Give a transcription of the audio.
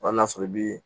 n'a sɔrɔ i bi